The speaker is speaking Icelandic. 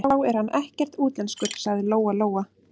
Þá er hann ekkert útlenskur, sagði Lóa-Lóa.